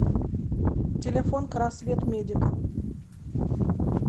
телефон красветмедика